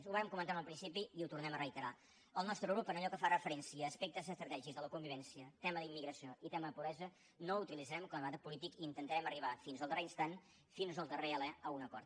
ho vam comentar al principi i ho tornem a reiterar el nostre grup allò que fa referència a aspectes estratègics de la convivència tema d’immigració i tema de pobresa no ho utilitzarem com a debat polític i intentarem arribar fins al darrer instant fins al darrer alè a un acord